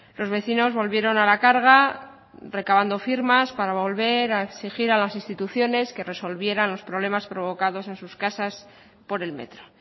los vecinos volvieron a la carga recabando firmas para volver a exigir a las instituciones que resolvieron los problemas provocados en sus casas por el metro